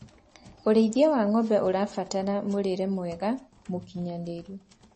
ũrĩithi wa ng'ombe ũrabatara mũrĩre mwega mũũkĩnyanĩru